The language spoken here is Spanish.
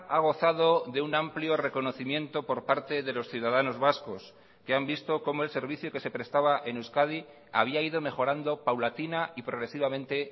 ha gozado de un amplio reconocimiento por parte de los ciudadanos vascos que han visto cómo el servicio que se prestaba en euskadi había ido mejorando paulatina y progresivamente